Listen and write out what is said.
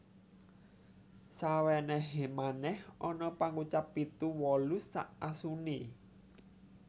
Sawenehe manèh ana pangucap Pitu wolu sak asune